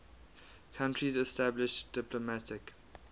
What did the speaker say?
countries established diplomatic